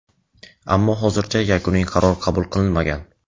ammo hozircha yakuniy qaror qabul qilinmagan.